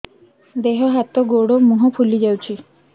ଦେହ ହାତ ଗୋଡୋ ମୁହଁ ଫୁଲି ଯାଉଛି